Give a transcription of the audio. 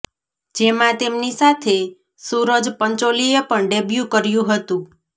જેમાં તેમની સાથે સુરજ પંચોલીએ પણ ડેબ્યુ કર્યુ હતુ